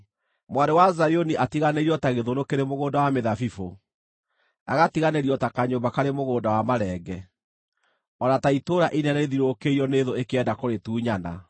Mwarĩ wa Zayuni atiganĩirio ta gĩthũnũ kĩrĩ mũgũnda wa mĩthabibũ, agatiganĩrio ta kanyũmba karĩ mũgũnda wa marenge, o na ta itũũra inene rĩthiũrũrũkĩirio nĩ thũ ikĩenda kũrĩtunyana.